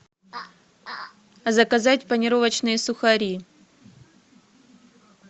заказать панировочные сухари